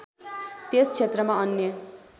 त्यस क्षेत्रमा अन्य